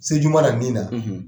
Se juma la min na